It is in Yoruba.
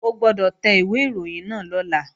O gbọ́dọ̀ tẹ ìwé ìròyìn náà lọ́la!